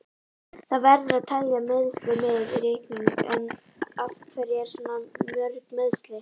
Það verður að telja meiðsli með í reikninginn, en af hverju eru svona mörg meiðsli?